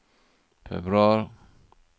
februar